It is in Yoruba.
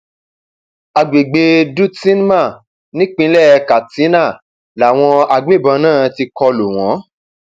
àgbègbè dutsinma nípìnlẹ katsina làwọn agbébọn náà ti kọ lù kọ lù wọn